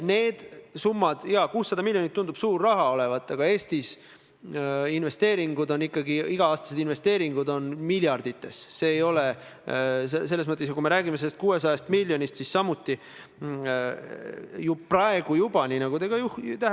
Kahjuks selgus majanduskomisjonis peale meresõiduohutuse seaduse teise lugemise arutelu ja otsuste vastuvõtmist, et Majandus- ja Kommunikatsiooniministeerium on kahetsusväärsel kombel uue raudteeseaduse ettevalmistamisel ja ka erandite pikendamise ettevalmistamisel jätnud kõrvale sihtgrupi, keda need muudatused oluliselt puudutavad.